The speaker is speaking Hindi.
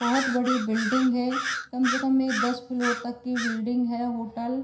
बहोत बड़ी बिल्डिंग है। कम से कम ये दस फ्लोर तक की बिल्डिंग है। होटल --